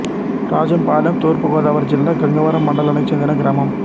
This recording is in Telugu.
రాజంపాలెం తూర్పు గోదావరి జిల్లా గంగవరం మండలానికి చెందిన గ్రామం